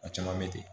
A caman bɛ ten